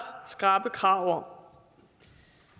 skrappe krav om